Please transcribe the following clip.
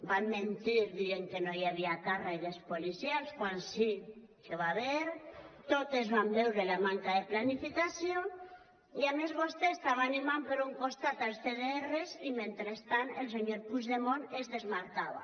van mentir dient que no hi havia càrregues policials quan sí que n’hi va haver totes vam veure la manca de planificació i a més vostè estava animant per un costat els cdr i mentrestant el senyor puigdemont se’n desmarcava